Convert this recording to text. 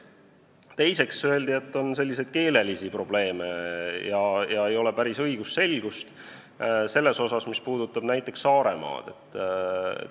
Teiseks öeldi, et on selliseid keelelisi probleeme ja ei ole päris õigusselgust selles, mis puudutab näiteks Saaremaad.